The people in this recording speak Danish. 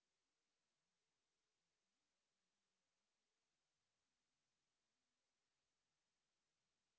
to